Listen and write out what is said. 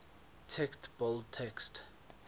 text bold text